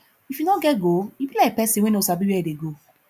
If you no get goal you be like persin wey no sabi where e dey go